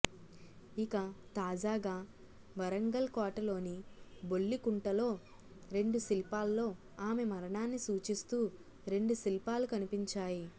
ఇక తాజాగా వరంగల్ కోటలోని బొల్లికుంటలో రెండు శిల్పాల్లో ఆమె మరణాన్ని సూచిస్తూ రెండు శిల్పాలు కనిపించాయి